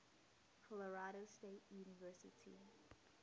colorado state university